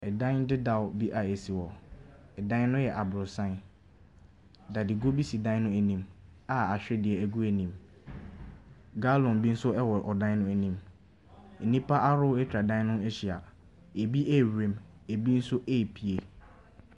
Ɛdan dedaw bi a ɛsi hɔ. Ɛdan no yɛ aborosan. Dade kuo bi si ɛdan no anim a ahwedeɛ ɛgu ani mu. Galɔn bi nso ɛwɔ ɛdan no anim. Nnipa ahoroɔ atwa ɛdan no ho ahyia. Ebi ɛrewura mu, ebi nso ɛrepue.